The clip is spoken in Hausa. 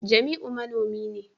jamiu manomi ne